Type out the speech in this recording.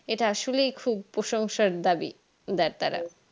এটা আসলে খুব প্রশংসার দাবি দেয় তারা